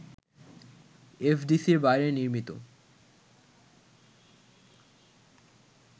এফডিসির বাইরে নির্মিত